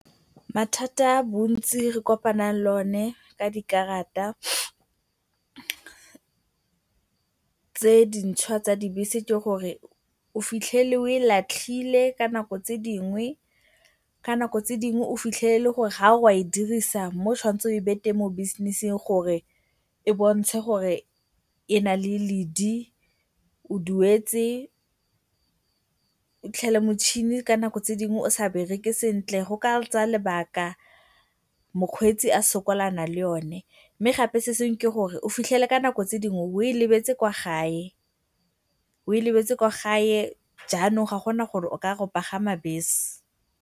Mathata a bontsi re kopanang le one ka dikarata tse di ntšhwa tsa dibese ke gore o fitlhele o e latlhile ka nako tse dingwe, ka nako tse dingwe o fitlhele e le gore fa o re o a e dirisa mo o tshwanetseng o e batle mo business-ing gore e bontshe gore e na le ledi o duetse. O fitlhele motšhini ka nako tse dingwe o sa bereke sentle, go ka tsaya lebaka mokgweetsi a sokolana le one. Mme gape se sengwe ke gore o fitlhele ka nako tse dingwe o e lebetse kwa gae, o e lebetse kwa gae jaanong ga go na gore o ka ya go pagama bese.